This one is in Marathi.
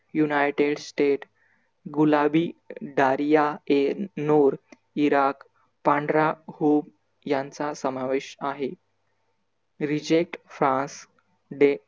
united states गुलाबी झारीया ए नुर इराक, पांढरा हुप यांचा समावेश आहे. reject fast हे